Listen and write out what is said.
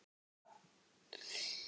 Þín Fanney Ýr.